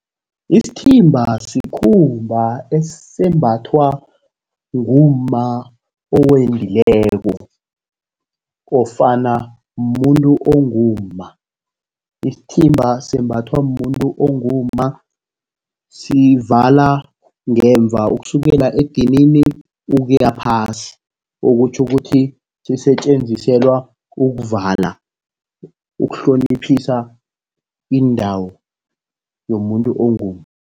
Isithimba sikhumba esembathwa ngumma owendileko nofana mumuntu ongumma. Isithimba sembathwa mumuntu ongumma, sivala ngemva ukusukela edinini ukuya phasi. Okutjho ukuthi sisetjenziselwa ukuvala, ukuhloniphisa indawo yomuntu ongumma.